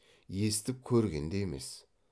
естіп көрген де емес